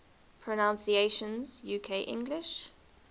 pronunciations uk english